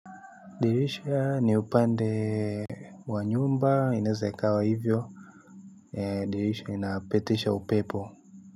Dirisha ni upande wa nyumba inaeza ikawa hivyo. Dirisha inapetisha upepo.